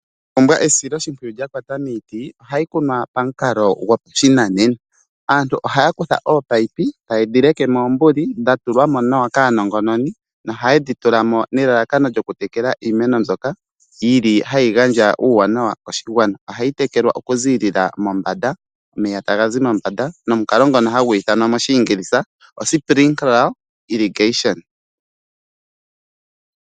Iimena oya pumbwa esiloshipwiyu lya kwata miiti ohayi kunwa pashinanena aantu ohaa kutha oopayipi tayedhi leke mombanda oombululu kaanongononi nohaye dhi tulapo nelalakano lyoku tekela iimeno mbyoka yi li hayi gandja uuwanawa koshigwana ohayi tekelwa okuziilila mombanda omeya taga zi mombanda nomukalo ngono hagu ithanwa Splinkela Illigation.